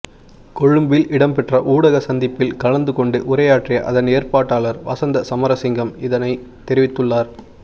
கொழும்பில் இடம்பெற்ற ஊடக சந்திப்பில் கலந்து கொண்டு உரையாற்றிய அதன் ஏற்பாட்டாளர் வசந்த சமரசிங்க இதனை தெரிவித்துள்ளார்